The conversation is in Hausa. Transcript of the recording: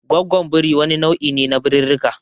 Goggwon birii wani nau'i ne na birirrika.